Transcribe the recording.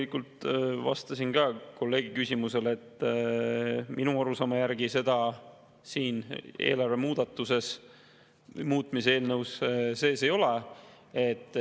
Ma juba vastasin ka teie kolleegi küsimusele, et minu arusaama järgi seda raha selles eelarve muutmise eelnõus sees ei ole.